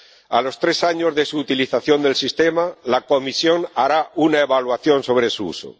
A los tres años de la utilización del sistema, la Comisión hará una evaluación sobre su uso.